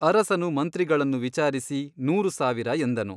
ಅರಸನು ಮಂತ್ರಿಗಳನ್ನು ವಿಚಾರಿಸಿ ನೂರು ಸಾವಿರ ಎಂದನು.